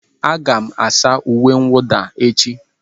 Aga m asa uwe mwụda echi.